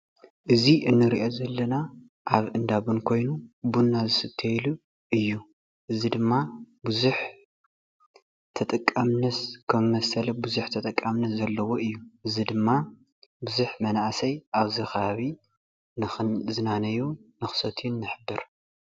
እዚ እንሪኦ ዘለና ኣብ እንዳ ቡን ኮይኑ ቡና ዝስተይሉ እዩ፡፡ እዚ ድማ ከምዚ መሰለ ቡዙሕ ተጠቃምነት ከም ዘለዎ እዩ፡፡ እዚ ድማ ቡዙሕ መናእሰይ ኣብዚ ከባቢ ንክዝናነዩን ክሰትዩን ንሕብር፡፡